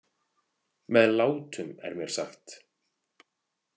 Með látum, er mér sagt.